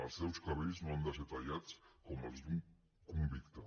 els seus cabells no han de ser tallats com els d’un convicte